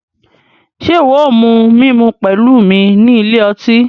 Ṣe iwọ o mu mímú pẹlu mí ní ilé ọtí?